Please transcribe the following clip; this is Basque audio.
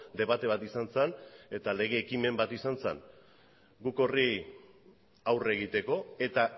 debate bat izan zen eta lege ekimen bat izan zen guk horri aurre egiteko eta